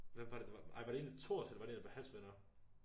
Hvem var det det var ej var det en af Thors eller var det en af Hans venner?